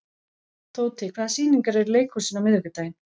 Tóti, hvaða sýningar eru í leikhúsinu á miðvikudaginn?